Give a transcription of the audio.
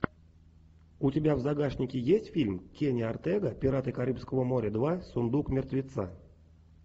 у тебя в загашнике есть фильм кенни ортега пираты карибского моря два сундук мертвеца